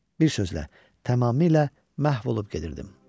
Bir sözlə, tamamilə məhv olub gedirdim.